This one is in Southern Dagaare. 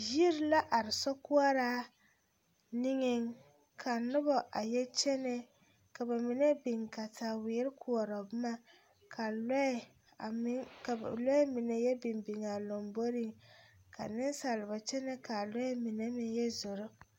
Yiri la are sokoɔraa niŋeŋ ka noba a yɛ kyene ka ba mine biŋ kataweere koɔrɔ boma ka lɔɛ a meŋ ka lɔɛ mine biŋ biŋ a lamboriŋ ka nensalba kyɛnɛ k,a lɔɛ mine meŋ yɛ zoro.